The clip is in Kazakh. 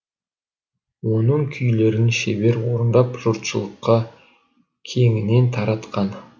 оның күйлерін шебер орындап жұртшылыққа кеңінен таратқан